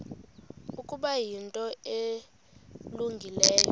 ukuba yinto elungileyo